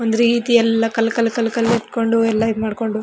ಒಂದ್ ರೀತಿ ಎಲ್ಲ ಕಲ್ಲ್ ಕಲ್ಲ್ ಕಲ್ಲ್ ಕಲ್ಲ್ ಇಟ್ಕೊಂಡು ಎಲ್ಲ ಇದ್ ಮಾಡ್ಕೊಂಡು --